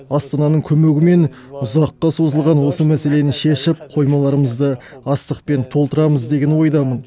астананың көмегімен ұзаққа созылған осы мәселені шешіп қоймаларымызды астықпен толтырамыз деген ойдамын